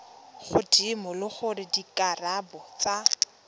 godimo le gore dikarabo tsa